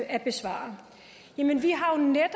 at besvare jamen vi